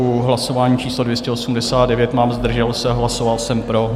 U hlasování číslo 289 mám "zdržel se", hlasoval jsem pro.